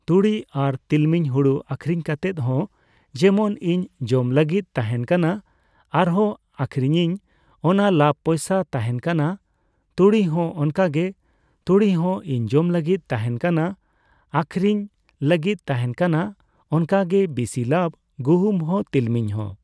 ᱛᱩᱲᱤ ᱟᱨ ᱛᱤᱞᱢᱤᱧ᱾ ᱦᱩᱲᱩ ᱟᱹᱠᱷᱨᱤᱧ ᱠᱟᱛᱮᱫ ᱦᱚᱸ ᱡᱮᱢᱚᱱ ᱤᱧ ᱡᱚᱢ ᱞᱟᱹᱜᱤᱫ ᱛᱟᱦᱮᱱ ᱠᱟᱱᱟ᱾ ᱟᱨᱦᱚᱸ ᱟᱹᱠᱷᱨᱤᱧᱤᱧ ᱚᱱᱟ ᱞᱟᱵ ᱯᱚᱭᱥᱟ ᱛᱟᱦᱮᱱ ᱠᱟᱱᱟ᱾ ᱛᱩᱲᱤ ᱦᱚᱸ ᱚᱱᱠᱟ ᱜᱮ᱾ ᱛᱩᱲᱤ ᱦᱚᱸ ᱤᱧ ᱡᱚᱢ ᱞᱟᱹᱜᱤᱫ ᱛᱟᱦᱮᱱ ᱠᱟᱱᱟ, ᱟᱹᱠᱷᱨᱤᱧ ᱞᱟᱹᱜᱤᱫ ᱛᱟᱦᱮᱱ ᱠᱟᱱᱟ᱾ ᱚᱱᱠᱟᱜᱮ ᱵᱤᱥᱤ ᱞᱟᱵᱷ, ᱜᱩᱦᱩᱢ ᱦᱚᱸ, ᱛᱤᱞᱢᱤᱧ ᱦᱚᱸ᱾